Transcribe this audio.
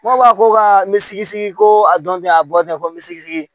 N ko a ko ka n bi sigi sigi ko a dɔn tɛ a bɔ ten ko n bɛ se sigi